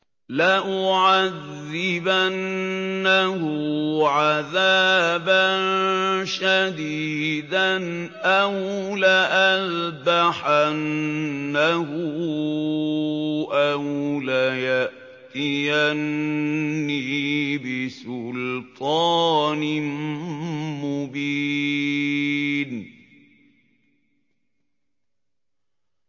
لَأُعَذِّبَنَّهُ عَذَابًا شَدِيدًا أَوْ لَأَذْبَحَنَّهُ أَوْ لَيَأْتِيَنِّي بِسُلْطَانٍ مُّبِينٍ